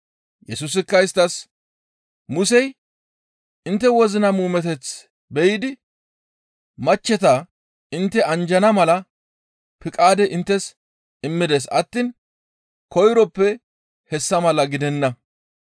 Yesusikka isttas, «Musey intte wozina muumeteth be7idi machcheta intte anjjana mala piqaade inttes immides attiin koyroppe hessa mala gidenna.